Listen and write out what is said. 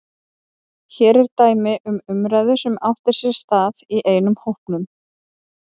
Hér er dæmi um umræðu sem átti sér stað í einum hópnum